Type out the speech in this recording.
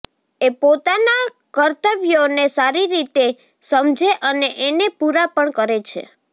એ પોતાના કર્ત્વયોને સારી રીતે સમઝે અને એને પૂરા પણ કરે છે